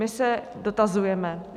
My se dotazujeme.